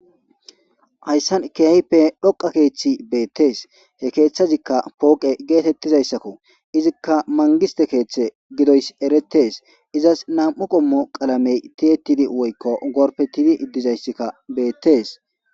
hayssan kiyayppe dhoqa keeththi beettes he keeththazikka pooqe geetettizayssakko izikka mangiste keeththe gidoys eretees izas nam7u qommo qalamey tiyettidi woykko gorpe tibi dizayssakka beettes